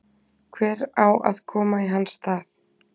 Hver á að koma í hans stað?